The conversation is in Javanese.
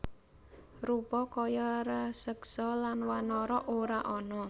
Rupa kaya raseksa lan wanara ora ana